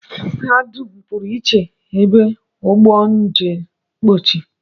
Ha dum pụrụ ebe a ugbu a jechara mpochi